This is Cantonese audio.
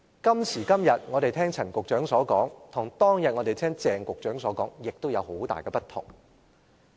今時今日，我們聽到陳局長所說的，與當天聽鄭局長所說的也有很大的不同。